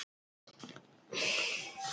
Ég er til í smá róður en ekki að veiða.